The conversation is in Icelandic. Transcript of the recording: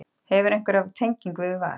Hefurðu einhverja tengingu við Val?